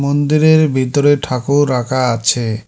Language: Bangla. মন্দিরের ভিতরে ঠাকুর রাখা আছে।